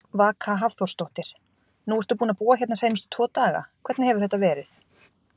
Vaka Hafþórsdóttir: Nú ertu búinn að búa hérna seinustu tvo daga, hvernig hefur þetta verið?